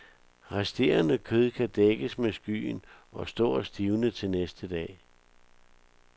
Resterende kød kan dækkes med skyen og stå og stivne til næste dag.